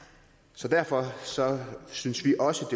så derfor synes vi også